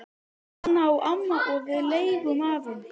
Hana á amma og við leigjum af henni.